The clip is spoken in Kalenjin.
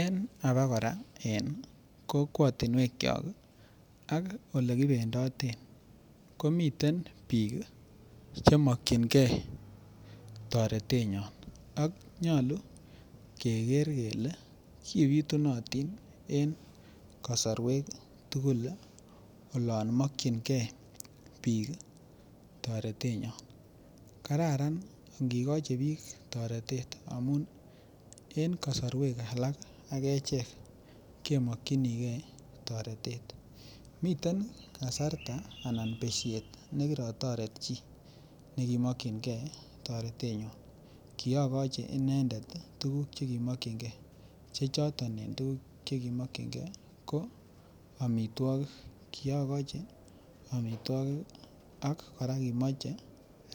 En abakora en kokwotinwekyok ak Ole kibendoten komiten bik Che mokyingei toretenyon ak nyolu keger kele ki bitunotin en kasarwek tugul olon mokyingei bik toretenyon kararan angi Kochi bik toretet amun en kasarwek alak agechek kemokyinige toretet miten besyet ne kirotoret chi nekimokyingei toretenyun kiagochi inendet tuguk Cheki mokyingei che choton en tuguk Che ki mokyingei ko amitwogik kiagochi amitwogik ak kora kimoche